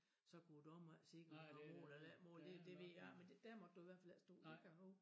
Så kunne æ dommer ikke se når der var mål eller ikke mål det det ved jeg ikke men der måtte du i hvert fald ikke stå det kan jeg hove